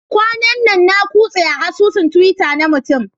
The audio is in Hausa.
Kwanan nan na yi kutse a asusun Twitter na mutum